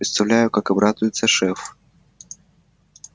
представляю как обрадуется шеф